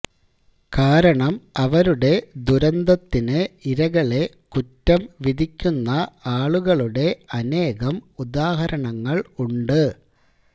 കാരണം അവരുടെ ദുരന്തത്തിന് ഇരകളെ കുറ്റംവിധിക്കുന്ന ആളുകളുടെ അനേകം ഉദാഹരണങ്ങൾ ഉണ്ട്